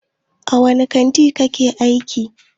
A wani kantin kike aiki?